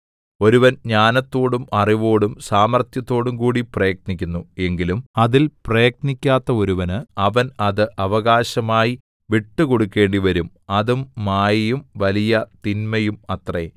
ഒരുവൻ ജ്ഞാനത്തോടും അറിവോടും സാമർത്ഥ്യത്തോടുംകൂടി പ്രയത്നിക്കുന്നു എങ്കിലും അതിൽ പ്രയത്നിക്കാത്ത ഒരുവന് അവൻ അത് അവകാശമായി വിട്ടുകൊടുക്കേണ്ടി വരും അതും മായയും വലിയ തിന്മയും അത്രേ